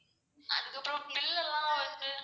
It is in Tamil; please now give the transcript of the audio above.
அதுக்கு அப்புறம் bill எல்லாம் வந்து